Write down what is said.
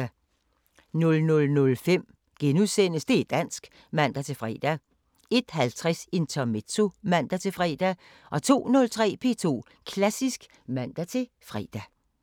00:05: Det´ dansk *(man-fre) 01:50: Intermezzo (man-fre) 02:03: P2 Klassisk (man-fre)